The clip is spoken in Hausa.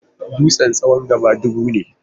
Dutsen tsawon gaba dubu ne.